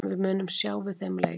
Við munum sjá við þeim leik!